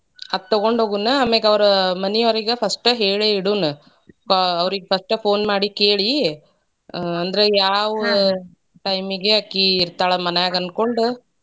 ಅದ ತಗೊಂಡ್ ಹೋಗುಣ ಆಮ್ಯಾಗ ಅವರ ಮನಿ ಅವರಿಗೆ first ಹೇಳೇ ಇಡುಣ. ಫ~ ಅವರಿಗೆ first phone ಮಾಡಿ ಕೇಳಿ ಅಂದ್ರ ಆಹ್ ಯಾವ time ಗ ಆಕಿ ಇರತಾಳ ಮನ್ಯಾಗ ಅನ್ಕೊಂಡ.